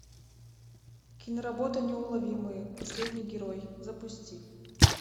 киноработа неуловимые последний герой запусти